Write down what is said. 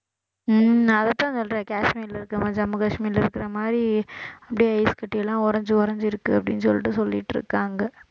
உம் நான் அதைத்தான் சொல்றேன் காஷ்மீர்ல இருக்கிற மாதிரி ஜம்மு காஷ்மீர்ல இருக்கிற மாதிரி அப்படியே ஐஸ்கட்டி எல்லாம் உறைஞ்சு உறைஞ்சிருக்கு அப்படின்னு சொல்லிட்டு சொல்லிட்டு இருக்காங்க